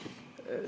Aitäh!